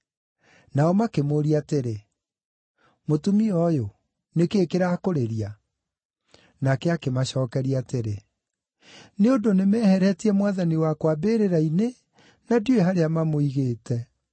Nao makĩmũũria atĩrĩ, “Mũtumia ũyũ, nĩ kĩĩ kĩrakũrĩria?” Nake akĩmacookeria atĩrĩ, “Nĩ ũndũ nĩmeheretie Mwathani wakwa mbĩrĩra-inĩ, na ndiũĩ harĩa mamũigĩte.”